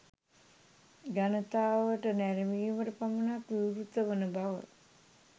ජනතාවට නැරඹීමට පමණක් විවෘත වන බව